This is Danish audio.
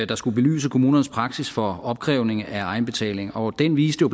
der skulle belyse kommunernes praksis for opkrævning af egenbetaling og den viste